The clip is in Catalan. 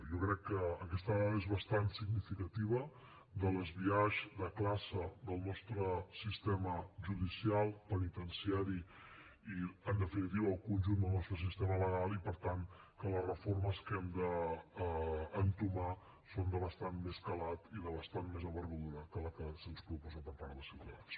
jo crec que aquesta dada és bastant significativa del biaix de classe del nostre sistema judicial penitenciari i en definitiva del conjunt del nostre sistema legal i per tant que les reformes que hem d’entomar són de bastant més calat i de bastant més envergadura que la que se’ns proposa per part de ciutadans